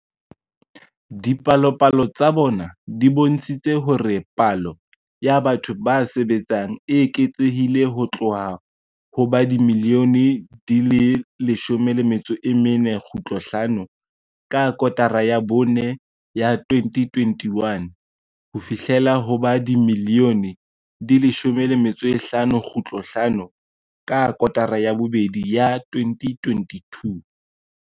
Dipalopalo tsa bona di bontshitse hore palo ya batho ba sebetsang e eketsehile ho tloha ho ba dimilione di 14.5 ka kotara ya bone ya 2021 ho fihlela ho ba dimilione di 15.5 ka kotara ya bobedi ya 2022.